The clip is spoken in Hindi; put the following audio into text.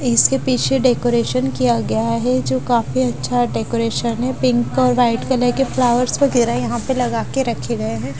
इसके पीछे डेकोरेशन किया गया है जो काफ अच्छा डेकोरेशन है पिंक और वाइट कलर के फ्लावर्स वगेरा यहा पे लगा के रखे गये है।